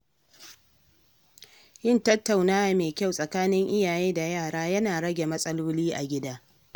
Yin tattaunawa mai kyau tsakanin iyaye da yara yana rage matsaloli a gida.